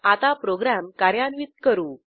आता प्रोग्रॅम कार्यान्वित करू